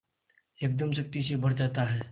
एकदम शक्ति से भर जाता है